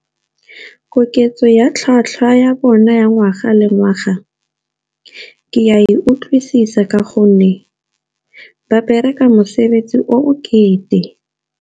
Koketso ya tlhwatlhwa ya bona ya ngwaga le ngwaga, ke a e utlwisisa ka gonne ba bereka mosebetsi o bokete.